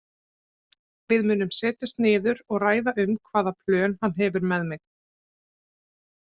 Við munum setjast niður og ræða um hvaða plön hann hefur með mig.